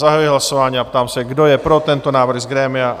Zahajuji hlasování a ptám se, kdo je pro tento návrh z grémia?